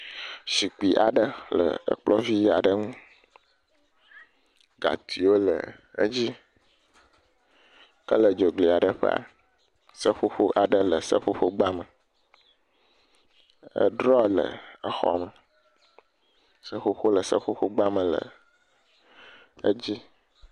Zikpui aɖe le kplɔ̃ vi aɖe ŋu. Gatiwo le edzi, ke le dzogli aɖe ƒea, seƒoƒo aɖe le seƒoƒogba me. Edrɔ le xɔa me. Seƒoƒo le seƒoƒogba me le edzi.